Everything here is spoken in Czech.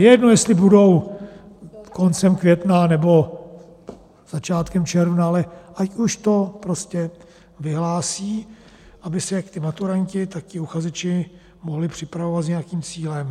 Je jedno, jestli budou koncem května, nebo začátkem června, ale ať už to prostě vyhlásí, aby se jak ti maturanti, tak ti uchazeči mohli připravovat s nějakým cílem.